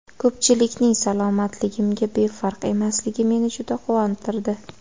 Ko‘pchilikning salomatligimga befarq emasligi meni juda quvontirdi.